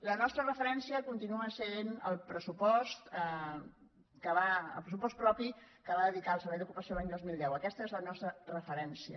la nostra referència continua sent el pressupost propi que hi va dedicar el servei d’ocupació l’any dos mil deu aquesta és la nostra referència